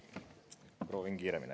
Proovin kiiremini.